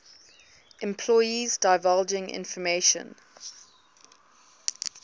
employees divulging information